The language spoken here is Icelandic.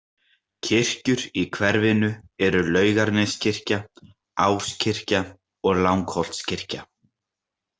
Kirkjur í hverfinu eru Laugarneskirkja, Áskirkja og Langholtskirkja.